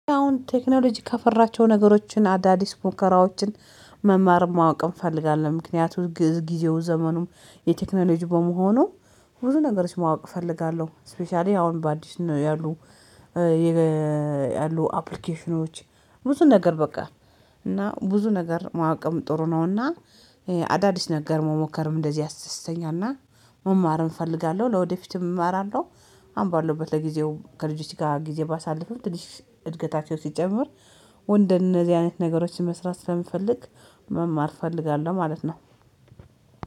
አሁን ቴክኖሎጂ ከፈራቸው ነገሮችን አዳዲስ ሙከራዎችን መማር ማወቅ እንፈልጋለን፤ ምክንያቱም ግእዝ ጊዜው ዘመኑም የቴክኖሎጂ በመሆኑ ብዙ ነገሮች ማወቅ እፈልጋለሁ ስፔሻሊ አሁን በአዲስ ነው ያሉት ያሉ አፕሊኬሽኖች ብዙ ነገር በቃ እና ብዙ ነገር ማዕቀም ጥሩ ነውና አዳዲስ ነገር መሞከርም እንደዚህ ያስተሳሰተኛና መማርም እፈልጋለሁ፤ ለወደፊትም እማራለሁ አምባለሁበት ለጊዜው ከልጆቼ ጋር ጊዜ ባሳልፍም ትንሽ እድገታቸው ሲጨምር ወንድ እነዚህ አይነት ነገሮችን መስራት ስለምፈልግ መማር እፈልጋለሁ ማለት ነው።